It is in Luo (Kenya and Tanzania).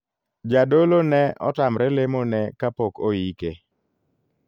Jadolo ne otamre lemo ne kapok oike.